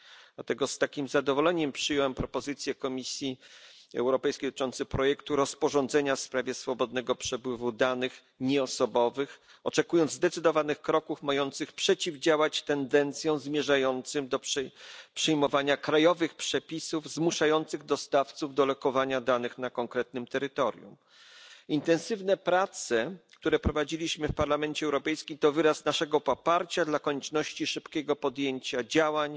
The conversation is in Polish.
Dlatego z takim zadowoleniem przyjąłem propozycję Komisji Europejskiej dotyczącą projektu rozporządzenia w sprawie swobodnego przepływu danych nieosobowych, oczekując zdecydowanych kroków mających przeciwdziałać tendencjom zmierzającym do przyjmowania krajowych przepisów zmuszających dostawców do lokowania danych na konkretnym terytorium. Intensywne prace, które prowadziliśmy w Parlamencie Europejskim, to wyraz naszego poparcia dla konieczności szybkiego podjęcia działań